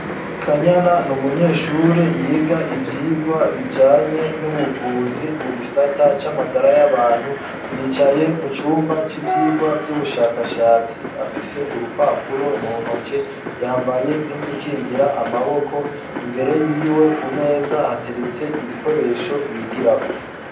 Kanyana ni umunyeshure yiga ivyigwa bijanye n'ubuvuzi ,mu gisata c'amagara y'abantu. Yicaye mu cumba c'ivyigwa vy'ubushakashatsi, afise urupapuro mu ntoke, yambaye n'udukingira amaboko. Imbere y'iwe ku meza, hateretse ibikoresho bigirako.